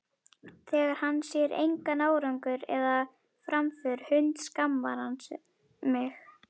Þegar hann sér engan árangur eða framför hundskammar hann mig.